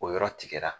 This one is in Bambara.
O yɔrɔ tigɛra